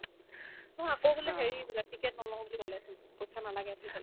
মই আকৌ বোলে হেৰি বোলে ticket নল'ও বুলি ক'লে পইচা নালাগে বুলি ক'লে